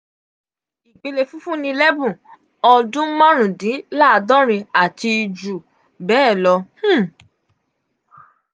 ipele fifunilebun odun marundinlaadọ́rin ati ju bee lọ um